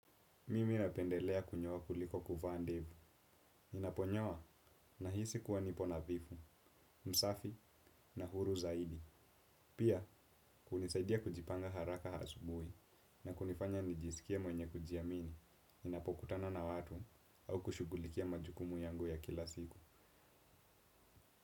Mimi napendelea kunyoa kuliko kuvaa ndevu. Ninaponyoa nahisi kuwa nipo nathifu, msafi na huru zaidi. Pia, unisaidia kujipanga haraka asubui na kunifanya nijisikie mwenye kujiamini. Ninapokutana na watu au kushugulikia majukumu yangu ya kila siku.